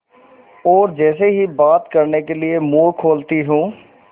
और जैसे ही बात करने के लिए मुँह खोलती हूँ